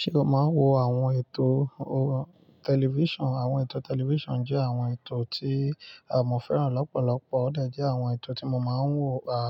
Ṣé o máa ń wo àwọn ètò tẹlifísàn? Àwọn ètò tẹlifísàn jẹ́ àwọn ètò tí àmọ́fẹ́ràn lọ́pọ̀lọpọ̀, ó de jẹ́ àwọn ètò tí mo ma ń wò a